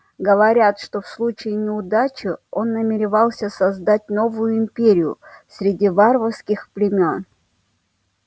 говорят что в случае неудачи он намеревался создать новую империю среди варварских племён